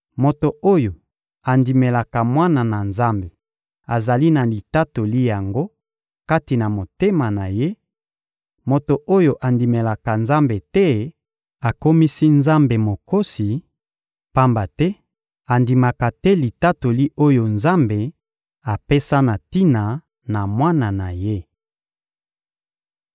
Moto oyo andimelaka Mwana na Nzambe azali na litatoli yango kati na motema na ye; moto oyo andimelaka Nzambe te akomisi Nzambe mokosi, pamba te andimaka te litatoli oyo Nzambe apesa na tina na Mwana na Ye.